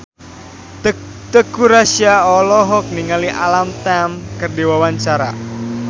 Teuku Rassya olohok ningali Alam Tam keur diwawancara